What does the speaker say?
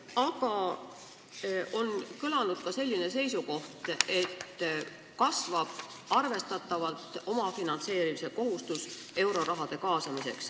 Aga on kõlanud ka selline seisukoht, et euroraha kaasamisel kasvab arvestatavalt omafinantseerimise kohustus.